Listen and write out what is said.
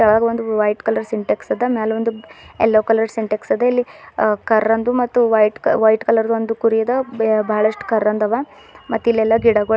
ಕಳಗ್ ಒಂದ್ white colour Sintex ಅದ ಮ್ಯಾಲ್ ಒಂದು ಎಲ್ಲೊ ಕಲರ್ ಸಿಂಟೆಕ್ಸ್ ಅದ ಇಲ್ಲಿ ಕರಂದು ಮತ್ತು ವೈಟ್ ವೈಟ್ ಕಲರ್ ದೊಂದು ಕುರಿ ಅದ ಬ ಬಳಸ್ಟು ಕರಂದು ಅವ ಮತ್ತೆ ಇಲ್ಲೆಲ್ಲಾ ಗಿಡ ಗೊಳ್ ಅವ್--